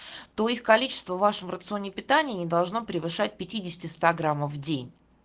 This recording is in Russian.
то их количество в вашем рационе питания не должно превышать пятидесяти ста граммов в день